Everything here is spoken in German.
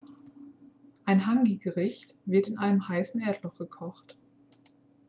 ein hāngi-gericht wird in einem heißen erdloch gekocht